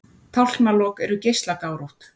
Tálknalok eru geislagárótt.